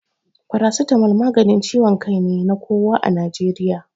Paracetamol maganin ciwon kai ne na kowa a Najeriya.